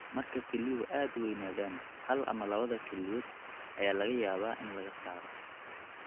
Marka kelyuhu aad u weynaadaan, hal ama labada kelyood ayaa laga yaabaa in laga saaro (nephrectomy).